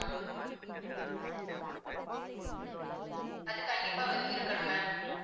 அது கண்டிப்பா வச்சிருக்கணும் ma'am